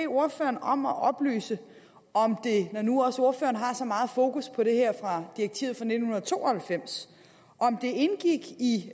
ordføreren om at oplyse om det når nu også ordføreren har så meget fokus på det her direktiv fra nitten to og halvfems indgik i